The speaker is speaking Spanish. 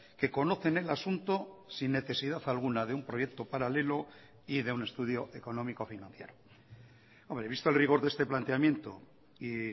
que conocen el asunto sin necesidad alguna de un proyecto paralelo y de un estudio económico financiero hombre visto el rigor de este planteamiento y